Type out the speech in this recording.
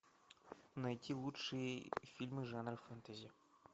найти лучшие фильмы жанра фэнтези